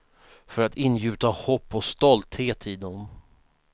För att ingjuta hopp och stolthet i dem.